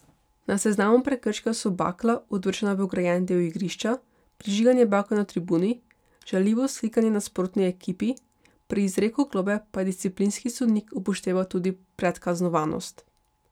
Na seznamu prekrškov so bakla, odvržena v ograjeni del igrišča, prižiganje bakel na tribuni, žaljivo vzklikanje nasprotni ekipi, pri izreku globe pa je disciplinski sodnik upošteval tudi predkaznovanost.